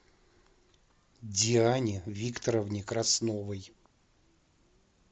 диане викторовне красновой